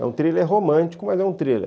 É um thriller romântico, mas é um thriller.